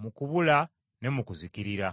mu kubula ne mu kuzikirira.